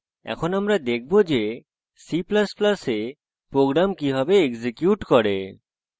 এখন আমরা দেখবো যে c ++ we programs কিভাবে execute করে